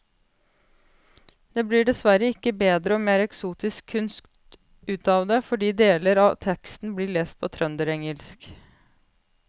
Det blir dessverre ikke bedre og mer eksotisk kunst ut av det fordi deler av teksten blir lest på trønderengelsk.